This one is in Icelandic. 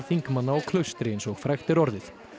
þingmanna á Klaustri eins og frægt er orðið